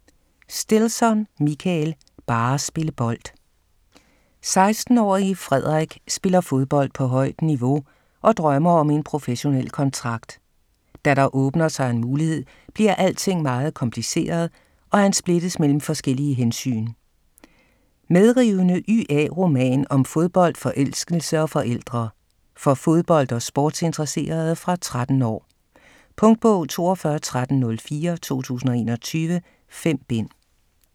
Stilson, Michael: Bare spille bold 16-årige Fredrik spiller fodbold på højt niveau og drømmer om en professionel kontrakt. Da der åbner sig en mulighed, bliver alting meget kompliceret, og han splittes mellem forskellige hensyn. Medrivende YA-roman om fodbold, forelskelse og forældre. For fodbold- og sportsinteresserede fra 13 år. Punktbog 421304 2021. 5 bind.